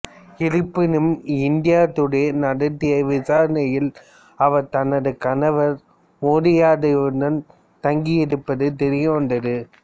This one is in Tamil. இருப்பினும் இந்தியா டுடே நடத்திய விசாரணையில் அவர் தனது கணவர் மோதி யாதவுடன் தங்கியிருப்பது தெரியவந்தது